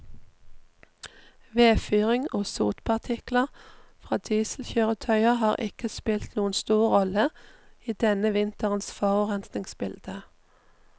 Vedfyring og sotpartikler fra dieselkjøretøyer har ikke spilt noen stor rolle i denne vinterens forurensningsbilde.